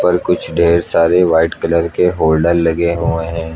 पर कुछ ढेर सारे व्हाइट कलर के होल्डर लगे हुए हैं।